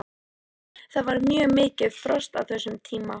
Það var mjög mikið frost á þessum tíma.